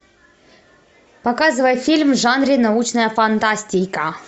показывай фильм в жанре научная фантастика